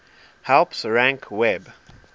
helps rank web